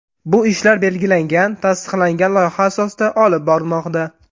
Bu ishlar belgilangan, tasdiqlangan loyiha asosida olib borilmoqda.